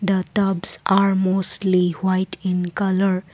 the tubs are mostly white in colour.